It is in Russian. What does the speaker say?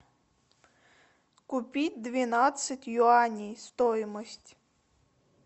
купить двенадцать юаней стоимость